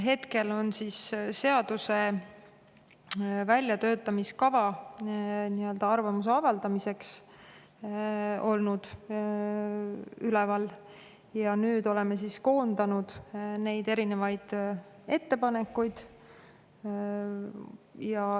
Hetkel on väljatöötamiskavatsus olnud arvamuse avaldamiseks üleval ja nüüd oleme koondanud erinevaid ettepanekuid.